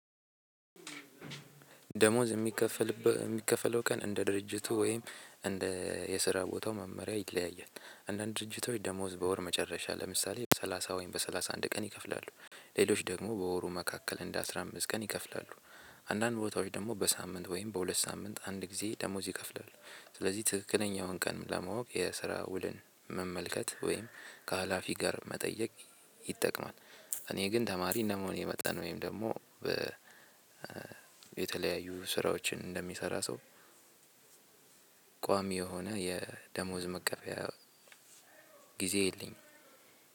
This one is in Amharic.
ደመወዝ የሚከፈል የሚከፈለው ቀን እንደ ድርጅቱ ወይም እንደ የስራ ቦታው መመሪያ ይለያያል። አንዳንድ ድርጅቶች ደመወዝ በወር መጨረሻ ለምሳሌ በሰላሳ ወይም በሰላሳ አንድ ቀን ይከፍላሉ። ሌሎች ደግሞ በወሩ መካከል እንደ አስራ አምስት ቀን ይከፍላሉ። አንዳንድ ቦታዎች ደግሞ በሳምንት ወይም በሁለት ሳምንት አንድ ጊዜ ደሞዝ ይከፍላል። ስለዚህ ትክክለኛውን ቀን ለማወቅ የስራ ውልን መመልከት ወይም ከሀላፊ ጋር መጠየቅ ይጠቅማል። እኔ ግን ተማሪ እንደመሆኔ መጠን ወይም ደግሞ የተለያዩ ስራዎችን እንደሚሰራ ሰው ቋሚ የሆነ የደመወዝ መቀበያ ጊዜ የለኝም።